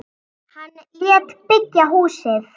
Hann lét byggja húsið.